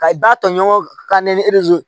Ka i ba tɔɲɔgɔnkɔ ka ne nize